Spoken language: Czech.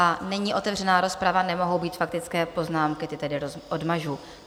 A není otevřena rozprava, nemohou být faktické poznámky, ty tedy odmažu.